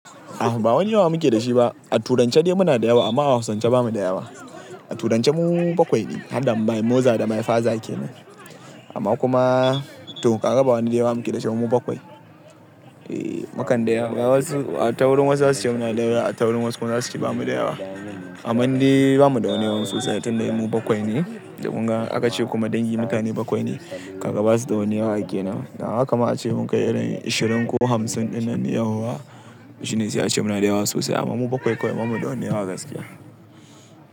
A ba wani yawa muke da shi ba. A turanci dai muna da yawa amma a hausance bamu da yawa. A turance mu bakwai ne, har dam mai moza da mai faza ake nan. Amma kuma to kaga ba wani de yawa muke dashi ba mu bakwai. E, mukan da yawa. A taurin wasu za su ce muna da yawa, a taurin wasu kuma za su ki ba mu da yawa. Amman de bamu da wani yawa sosai, tunda mu bakwai ne da munga aka ce kuma dai mutane bakwai ne. Kaga basu da wani yawa kenan. Da haka ma ace mun kai irin ashirin ko hamsin ɗinnan yauwa, shine sai ace muna da yawa sosai amma mu bakwai kawai bamu da wani yawa gaskiya.